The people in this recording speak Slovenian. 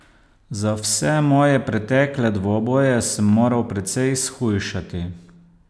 Za vse moje pretekle dvoboje sem moral precej shujšati.